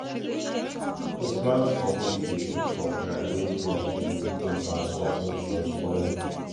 to plant for heap dey keep crop dry when flood um come and stop root from spoiling